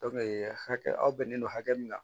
hakɛ a bɛnnen don hakɛ min na